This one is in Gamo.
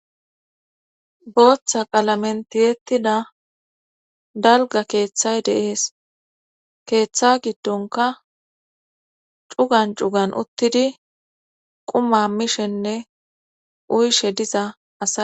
booththa qalamentiyettida dalga keeththay deees keeththa giddonka cugan cugan uttidi quma mishenne uyshe diza asa